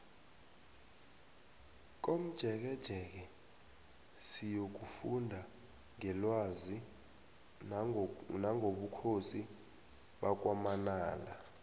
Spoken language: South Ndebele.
komjekejeke siyokufunda ngelwazi nangobukhosi bakwamanala